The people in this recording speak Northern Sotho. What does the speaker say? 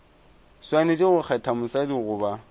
swanetše go kgetha mosadi goba